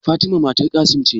Fatima matar Qassim ce?